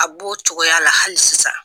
A bu o cogoya la hali sisan.